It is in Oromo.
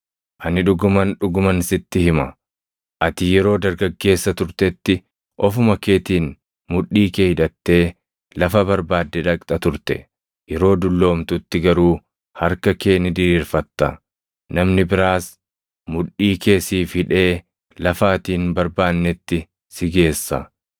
Ani dhuguman, dhuguman sitti hima; ati yeroo dargaggeessa turtetti, ofuma keetiin mudhii kee hidhattee lafa barbaadde dhaqxa turte; yeroo dulloomtutti garuu harka kee ni diriirfatta; namni biraas mudhii kee siif hidhee lafa ati hin barbaannetti si geessa.”